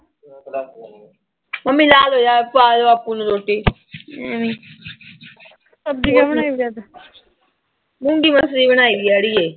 Mummy ਲਾਹ ਦੋ ਯਰ। ਪਾ ਦੇ ਬਾਪੂ ਨੂੰ ਰੋਟੀ ਮੂੰਗੀ-ਮਸਰੀ ਬਣਾਈ ਆ ਅੜੀਏ।